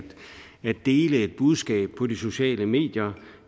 dele et budskab på de sociale medier